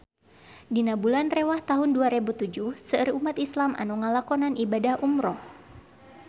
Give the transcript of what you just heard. Dina bulan Rewah taun dua rebu tujuh seueur umat islam nu ngalakonan ibadah umrah